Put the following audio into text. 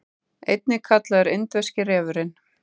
einnig kallaður indverski refurinn